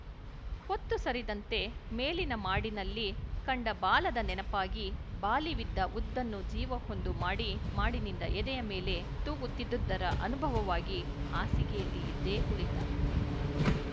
ಹೊತ್ತು ಸರಿದಂತೆ ಮೇಲಿನ ಮಾಡಿನಲ್ಲಿ ಕಂಡ ಬಾಲದ ನೆನಪಾಗಿ ಬಾಲಿವಿದ್ದ ಉದ್ದನ್ನ ಜೀವವೊಂದು ಮಾಡಿ ನಿಂದ ಎದೆಯ ಮೇಲೇ ತೂಗುತ್ತಿದ್ದುದರ ಅನುಭವವಾಗಿ ಹಾಸಿಗೆಯಲ್ಲಿ ಎದ್ದೇ ಕುಳಿತ